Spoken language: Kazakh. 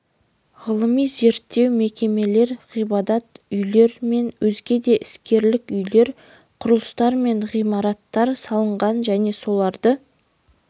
ғылыми-зерттеу мекемелер ғибадат үйлер мен өзге де іскерлік үйлер құрылыстар мен ғимараттар салынған және соларды